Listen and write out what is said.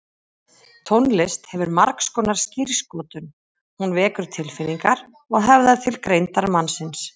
Tónlist hefur margskonar skírskotun, hún vekur tilfinningar og höfðar til greindar mannsins.